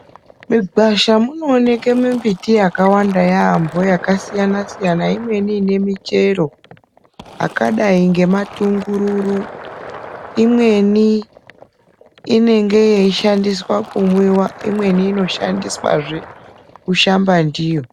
Migwasha munooneke mimbiti yakanaka yaambo yakasiyana siyana imweni ine michero akadai ngema tungururu imweni inenge yeishandiswa kumwiwa imweni kushandazve kushamba ndiyo.